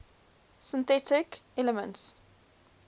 synthetic elements